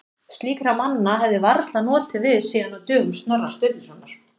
Slíkra manna hefði varla notið við síðan á dögum Snorra Sturlusonar.